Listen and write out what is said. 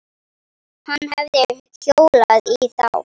Hann hefði hjólað í þá.